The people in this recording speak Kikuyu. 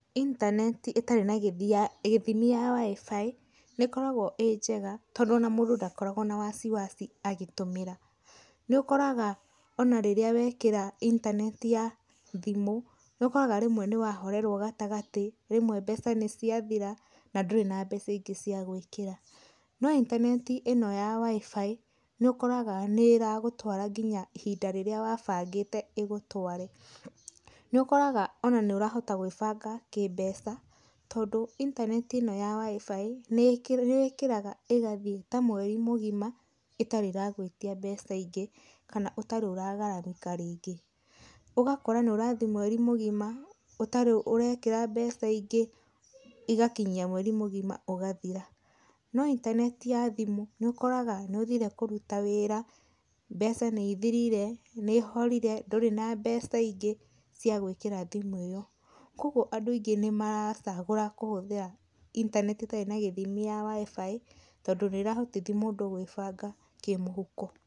Intaneti ĩtarĩ na gĩthia gĩthimi ya WIFI nĩkoragwo ĩ njega tondũ ona mũndũ ndakoragwo na wasiwasi agĩtũmira. Nĩũkoraga onarĩria wekĩra intaneti ya thimũ nĩũkoraga rĩmwe nĩwahorerwo gatagatĩ, rĩmwe mbeca nĩciathira na ndurĩ na mbeca ĩngi cĩagũĩkĩra.No intaneti ĩno ya WIFI nĩukoraga nĩ ĩragũtwara nginya ihinda rĩrĩa wabangĩte ĩgũtware. Nĩ ũkoraga onanĩũrahota gwĩbanga kĩmbeca tondũ intaneti ĩno ya WIFI nĩ wĩkĩraga ĩgathĩe ta mweri mũgĩma ĩtarĩ ĩragwĩtĩa mbeca ingi, kana ũtarĩ ũragaramika rĩngĩ. Ũgakora nĩũrathĩĩ mweri mũgima ũtarĩ ũrekĩra mbeca ingĩ igakinyia mweri mũgima ũgathira.No intaneti ya thimu nĩũkoraga nĩũthire kũruta wĩra, mbeca nĩĩthĩrire, nĩhorire, ndũrĩ na mbeca ingĩ cĩa gũĩkĩra thimũ ĩyo. Kogwo andũ aingĩ nĩmaracagũra kũhũthĩra intaneti ĩtarĩ na githimi ya WIFI, tondũ nĩrahotithia mũndũ gwĩbanga kĩmũhuko.